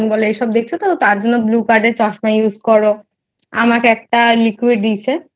বোলো এসব দেখছো তো তার জন্য blue pad এর চশমা use করো আমাকে একটা liquid দিয়েছে।